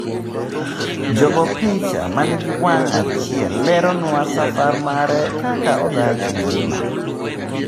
Jagoopicha mani gi wang' achiel leronwa safar mare kaka odhach engima.